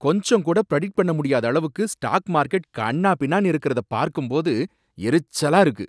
கொஞ்சம் கூட ப்ரெடிக்ட் பண்ண முடியாத அளவுக்கு ஸ்டாக் மார்க்கெட் கன்னாபின்னான்னு இருக்கறத பார்க்கும்போது எரிச்சலா இருக்கு.